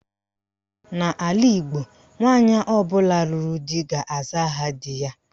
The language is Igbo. N' ala Igbo, nwaanyị ọbụla lụrụ di ga-aza aha di ya.